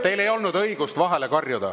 Teil ei olnud õigust vahele karjuda.